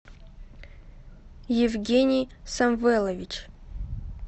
евгений самвелович